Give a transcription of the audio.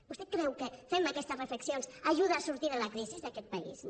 vostè creu que fent me aquestes reflexions ajuda a sortir de la crisi aquest país no